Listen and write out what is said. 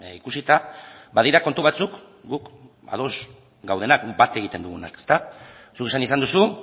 ikusita badira kontu batzuk guk ados gaudenak bat egiten duguna zuk esan izan duzu